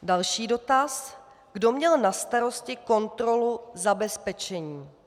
Další dotaz: Kdo měl na starosti kontrolu zabezpečení?